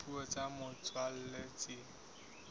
ya dipuo tsa motswalla tse